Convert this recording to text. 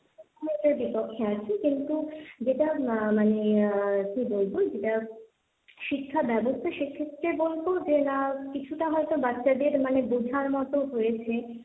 আমি এটার বিপক্ষে আছি, কিন্তু যেটা আহ মানে আহ কি বলবো শিক্ষা ব্যবস্থা, সেক্ষেত্রে বলবো যে না কিছুটা হয়তো বাচ্চাদের মানে বোঝার মতো হয়েছে,